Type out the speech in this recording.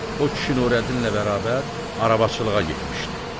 O kişi Nurəddinlə bərabər arabaçılığa getmişdi.